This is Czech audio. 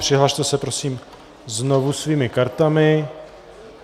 Přihlaste se prosím znovu svými kartami.